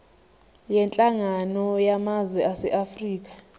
yenhlangano yamazwe aseafrika